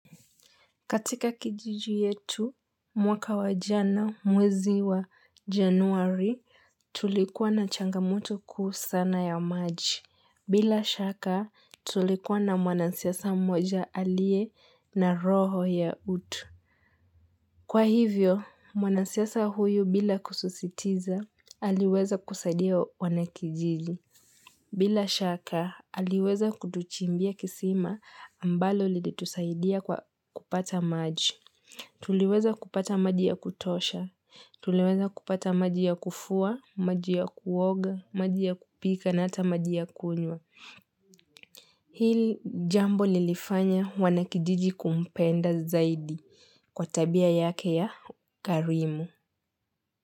Katika kijiju yetu, mwaka wajana mwezi wa januari, tulikuwa na changamuto kusana ya maji. Bila shaka, tulikuwa na mwanansiasa mmoja aliye na roho ya utu. Kwa hivyo, mwanasiasa huyu bila kusisitiza, aliweza kusaidia wanakijiji. Bila shaka, aliweza kutuchimbia kisima ambalo lilitusaidia kwa kupata maji. Tuliweza kupata maji ya kutosha. Tuliweza kupata maji ya kufua, maji ya kuoga, maji ya kupika na hata maji ya kunywa. Hilijambo lilifanya wanakijiji kumpenda zaidi. Kwa tabia yake ya ukarimu.